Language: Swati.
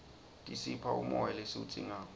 tisipha umoya lesiwudzingako